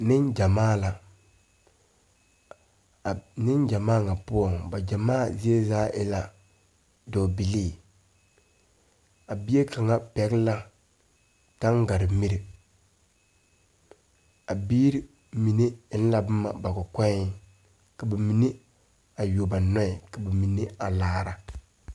Neŋgyamaa la a neŋgyamaa ŋa poɔŋ ba gyamaa zie zaa e la dɔɔbilii a bie kaŋa pɛgle la taŋaremire a biire mine eŋ la boma ba kɔkɔɛŋ ka ba mine a yuo ba nɔɛ ka ba mine a laara.